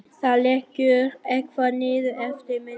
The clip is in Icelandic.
Það lekur eitthvað niður eftir vinstra lærinu.